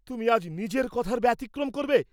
তুমি আজ নিজের কথার ব্যতিক্রম করবে?